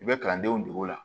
I bɛ kalandenw degu o la